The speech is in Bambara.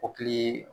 Kɔkili